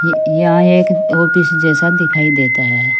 यह एक ऑफिस जैसा दिखाई देता है।